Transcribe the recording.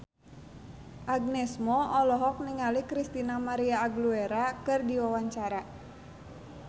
Agnes Mo olohok ningali Christina María Aguilera keur diwawancara